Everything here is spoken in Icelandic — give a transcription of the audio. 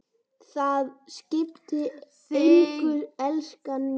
Það skiptir engu, elskan mín.